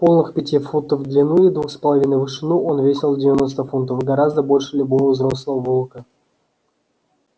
полых пяти футов в длину и двух с половиной в вышину он весил девяносто фунтов гораздо больше любого взрослого волка